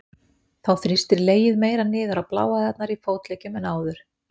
Þá þrýstir legið meira niður á bláæðarnar í fótleggjum en áður.